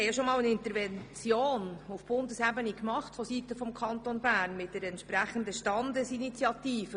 Wir hatten auf Bundesebene bereits einmal seitens des Kantons Bern eine Intervention mit einer Standesinitiative.